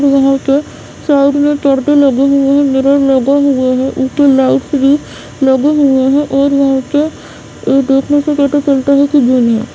यहाँ पे साइड मे परदे लगे हुए है मिरर लगे हुए है लाइट भी लगे हुए है और यहां पे ये देखने से पता चलता है की जिम है।